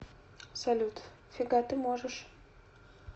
салют фига ты можешь